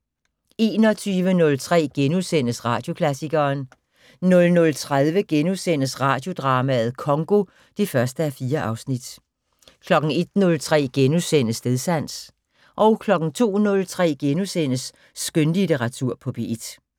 21:03: Radioklassikeren * 00:30: Radiodrama: Congo (1:4)* 01:03: Stedsans * 02:03: Skønlitteratur på P1 *